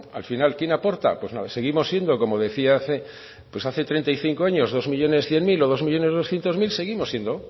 al final quién aporta pues nada seguimos siendo como decía hace treinta y cinco años dos millónes cien mil o dos millónes doscientos mil seguimos siendo